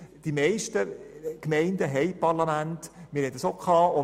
Die meisten Gemeinden, wie auch Burgdorf, verfügen über ein Parlament.